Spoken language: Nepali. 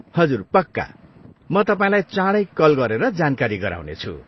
हजुर, पक्का, म तपाईँलाई चाँडै कल गरेर जानकारी गराउनेछु।